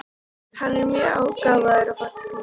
Hann er mjög gáfaður og gagnfróður.